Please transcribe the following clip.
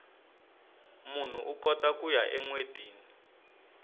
munhu ukota kuya enwetini